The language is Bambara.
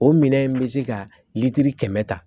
O minɛn in bɛ se ka litiri kɛmɛ ta